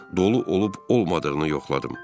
Dolu olub olmadığını yoxladım.